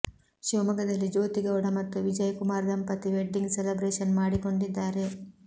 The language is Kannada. ಶಿವಮೊಗ್ಗದಲ್ಲಿ ಜ್ಯೋತಿ ಗೌಡ ಮತ್ತು ವಿಜಯ್ ಕುಮಾರ್ ದಂಪತಿ ವೆಡ್ಡಿಂಗ್ ಸೆಲೆಬ್ರೇಷನ್ ಮಾಡಿಕೊಂಡಿದ್ದಾರೆ